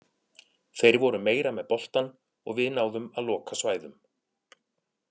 Þeir voru meira með boltann og við náðum að loka svæðum.